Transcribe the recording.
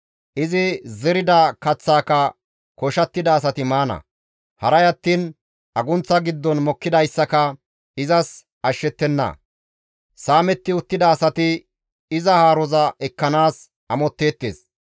Izi zerida kaththaaka koshattida asati maana; haray attiin agunththa giddon mokkidayssaka izas ashshettenna; Saametti uttida asati iza haaroza ekkanaas amotteettes.